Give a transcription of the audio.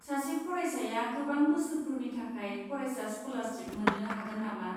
सासे फरायसाया गोबां बोसोरफोरनि थाखाय फरायसा स्क'लारशिप मोन्नो हागोन नामा?